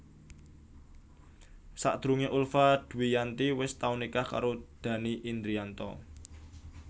Sadurungé Ulfa Dwiyanti wis tau nikah karo Dhanny Indrianto